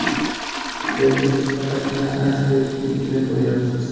Lekin siz faqatgina aysbergning uchini ko‘ryapsiz.